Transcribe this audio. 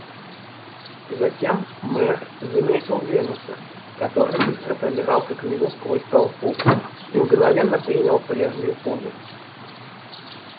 затем мэр заметил венуса который быстро пробирался к нему сквозь толпу и мгновенно принял прежнюю позу